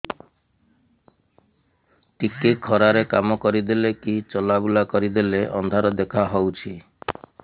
ଟିକେ ଖରା ରେ କାମ କରିଦେଲେ କି ଚଲବୁଲା କରିଦେଲେ ଅନ୍ଧାର ଦେଖା ହଉଚି